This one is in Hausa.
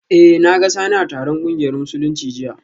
Eh, na ga Sani a taron kungiyar Musulunci jiya